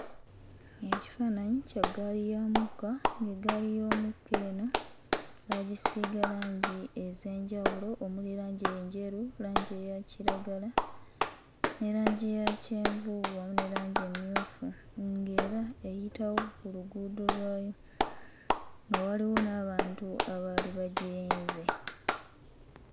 Ekifaananyi kya ggaali ya mukka ng'eggaali y'omukka eno baagisiiga langi ez'enjawulo omuli langi enjeru langi eya kiragala ne langi ya kyenvu wamu ne langi emmyuufu nga era eyitawo ku luguudo lwayo nga waliwo n'abantu abaali bagirinze.